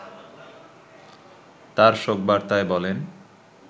তার শোক বার্তায় বলেন